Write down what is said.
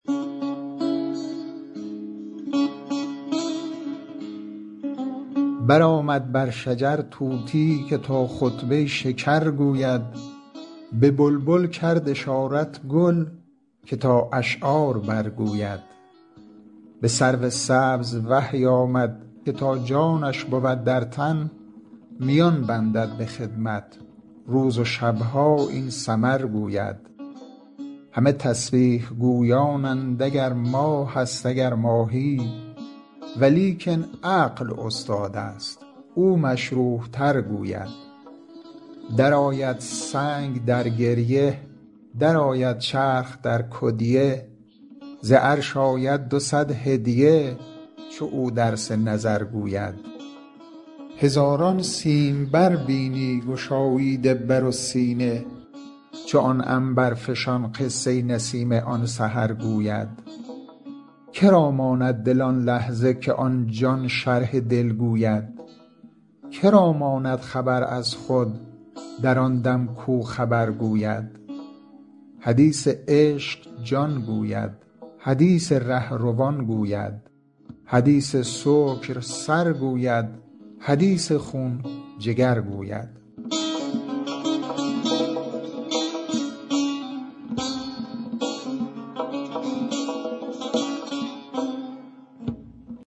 برآمد بر شجر طوطی که تا خطبه ی شکر گوید به بلبل کرد اشارت گل که تا اشعار برگوید به سرو سبز وحی آمد که تا جانش بود در تن میان بندد به خدمت روز و شب ها این سمر گوید همه تسبیح گویانند اگر ماهست اگر ماهی ولیکن عقل استادست او مشروح تر گوید درآید سنگ در گریه درآید چرخ در کدیه ز عرش آید دو صد هدیه چو او درس نظر گوید هزاران سیمبر بینی گشاییده بر و سینه چو آن عنبرفشان قصه ی نسیم آن سحر گوید که را ماند دل آن لحظه که آن جان شرح دل گوید که را ماند خبر از خود در آن دم کو خبر گوید حدیث عشق جان گوید حدیث ره روان گوید حدیث سکر سر گوید حدیث خون جگر گوید